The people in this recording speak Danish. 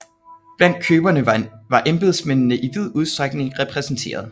Blandt køberne var embedsmændene i vid udstrækning repræsenterede